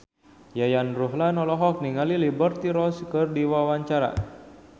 Yayan Ruhlan olohok ningali Liberty Ross keur diwawancara